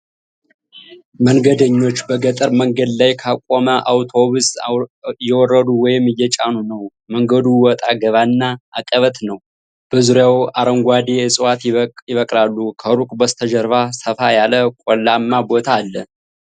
መንገደኞች በገጠር መንገድ ላይ ካቆመ አውቶቡስ እየወረዱ ወይም እየጫኑ ነው። መንገዱ ወጣ ገባና አቀበት ነው፤ በዙሪያው አረንጓዴ ዕፅዋት ይበቅላሉ። ከሩቅ በስተጀርባ ሰፋ ያለ ቆላማ ቦታ አለ።